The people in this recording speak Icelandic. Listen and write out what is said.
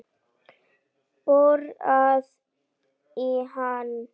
Borar í hana.